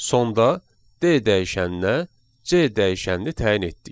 Sonda D dəyişəninə C dəyişənini təyin etdik.